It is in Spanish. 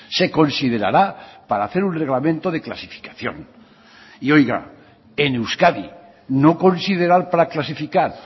se considerará para hacer un reglamento de clasificación y oiga en euskadi no considerar para clasificar